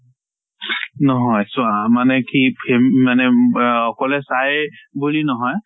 নহয় চোৱা মানে কি ফেম মানে অম অহ অকলে চায় বুলি নহয়,